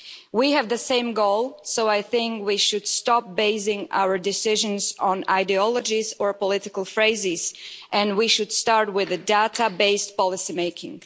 We have the same goal, so I think we should stop basing our decisions on ideologies or political slogans, and we should start with data based policymaking.